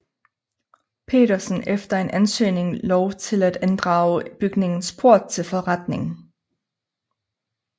Petersen efter en ansøgning lov til at inddrage bygningens port til forretning